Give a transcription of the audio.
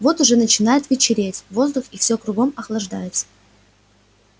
вот уже начинает вечереть воздух и все кругом охлаждается